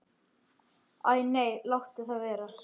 Æ nei, láttu það vera.